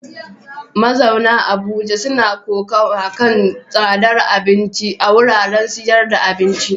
Mazauna Abuja suna kokawa kan tsadar abinci a wuraren sayar da abinci.